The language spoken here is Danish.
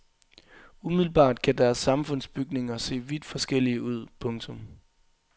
Umiddelbart kan deres samfundsbygninger se vidt forskellige ud. punktum